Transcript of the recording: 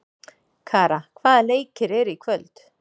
Kara, hvaða leikir eru í kvöld?